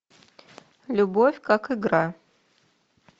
любовь как игра